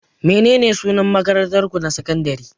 Menene sunan makarantarku ta sakandare?